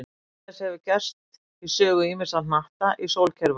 Annað eins hefur gerst í sögu ýmissa hnatta í sólkerfi okkar.